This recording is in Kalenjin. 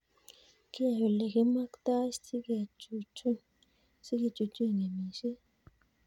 Kiyae ole kimaktoi si kechuchuch ng'emishet